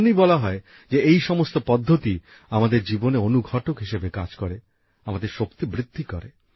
এজন্যই বলা হয় যে এই সমস্ত পদ্ধতি আমাদের জীবনে অনুঘটক হিসেবে কাজ করে আমাদের শক্তি বৃদ্ধি করে